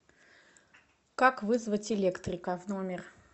как вызвать электрика в номер